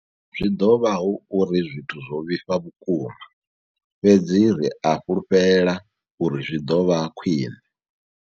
Zwi ḓo vha hu uri zwithu zwo vhifha vhukuma, fhedzi ri a fhulufhela uri zwi ḓo vha khwiṋe.